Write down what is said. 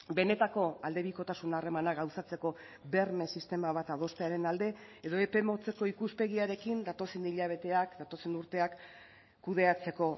benetako aldebikotasuna harremana gauzatzeko berme sistema bat adostearen alde edo epe motzeko ikuspegiarekin datozen hilabeteak datozen urteak kudeatzeko